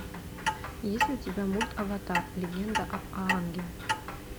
есть ли у тебя мульт аватар легенда об аанге